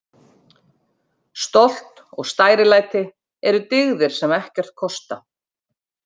Stolt og stærilæti eru dyggðir sem ekkert kosta.